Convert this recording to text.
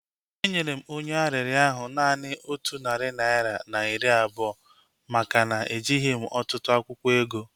Enyere m onye arịrịọ ahu naanị otu narị naira na iri abụọ maka na ejighị m ọtụtụ akwụkwọ ego